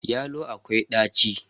Yalon akwai daci.